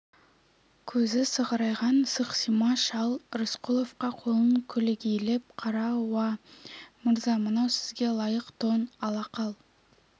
көзі сығырайған сықсима шал рысқұловқа қолын көлегейлеп қарап уа мырза мынау сізге лайық тон ала қал